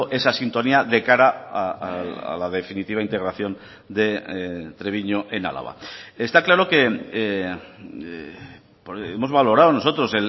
esa sintonía de cara a la definitiva integración de treviño en álava está claro que hemos valorado nosotros